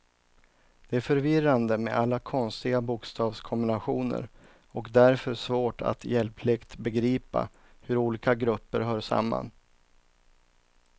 Det är förvirrande med alla konstiga bokstavskombinationer och därför svårt att hjälpligt begripa hur olika grupper hör samman.